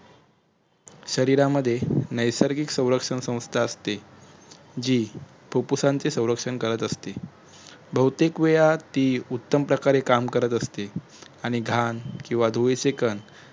शरिरामध्ये नयसर्गिक सुलक्षणा स्वसंस्था असते जी फुप्फुसांची सुरक्षण करत असते बहुतेक वेळा ती उत्तम प्रकारे काम करत असते आणि घाण किंवा धुळीचे कण